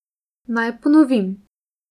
Naj ponovim.